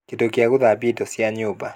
kĩndũ gĩa gũthambia indo cia nyũmba